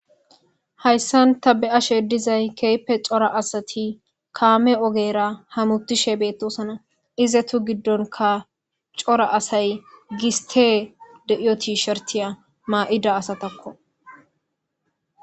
hayssan ta be7ashe dizay keepe cora asati kaame ogera hamutishe beettosana ize tu giddonka cora asay gistee de7iyoti shortiya maa7ida asatakko